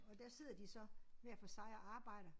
Og der sidder de så hver for sig og arbejder